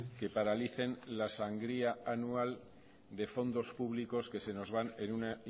que paralicen la sangría anual de fondos públicos que se nos van en una